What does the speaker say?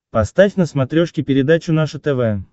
поставь на смотрешке передачу наше тв